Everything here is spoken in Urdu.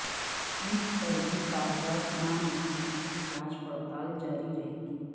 عید پر بھی کاغذات نامزدگی کی جانچ پڑتال جاری رہے گی